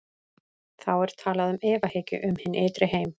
Þá er talað um efahyggju um hinn ytri heim.